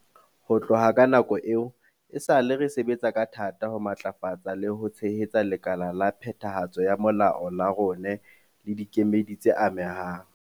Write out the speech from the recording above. Ho tloha ka nako eo, esale re sebetsa ka thata ho matlafatsa le ho tshehetsa lekala la phethahatso ya molao la rona le dikemedi tse amehang.